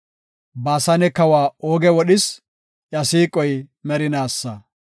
Baasane kawa Ooge wodhis; iya siiqoy merinaasa.